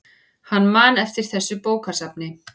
Hann man eftir þessu bókasafni.